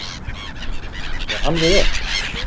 Er hann við öll.